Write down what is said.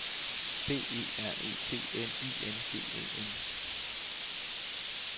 B E R E T N I N G E N